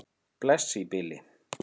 Bless í bili.